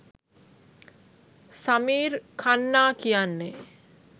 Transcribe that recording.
සමීර් ඛන්නා කියන්නේ